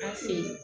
An fe yen